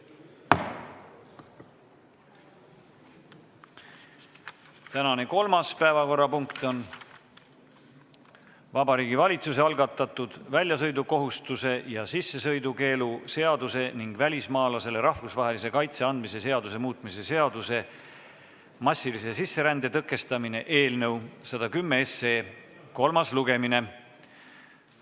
Tänane kolmas päevakorrapunkt on Vabariigi Valitsuse algatatud väljasõidukohustuse ja sissesõidukeelu seaduse ning välismaalasele rahvusvahelise kaitse andmise seaduse muutmise seaduse eelnõu 110 kolmas lugemine.